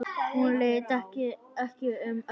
Hún leit ekki um öxl.